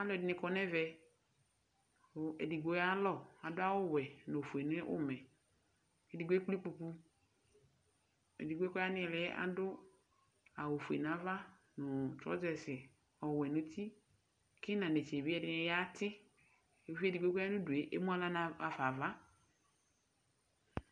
Alu ɛdɩnɩ kɔ nʋ ɛvɛ, kʋ edigbo yalɔ Adu awuwɛ nʋ ofue nʋ ʋmɛ Edigbo ekple ikpoku, edigbo kʋ ɔya nʋ ili adu awufue nʋ ava nʋ trɔzɛsɩ ɔwɛ nʋ uti Kʋ inanetse bɩ ɛdɩnɩ yati Uvi edigbo kʋ ɔya nʋ udu yɛ, emu aɣla ɣafa ava